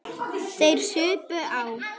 Þeir supu á.